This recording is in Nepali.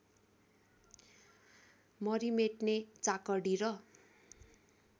मरिमेट्ने चाकडी र